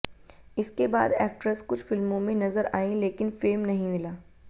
इसके बाद एक्ट्रेस कुछ फिल्मों में नजर आईं लेकिन फेम नहीं मिला